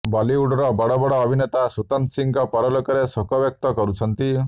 ବଲିଉଡର ବଡ ବଡ ଅଭିନେତା ସୁଶାନ୍ତ ସିଂହଙ୍କ ପରଲୋକରେ ଶୋକ ବ୍ୟକ୍ତ କରୁଛନ୍ତି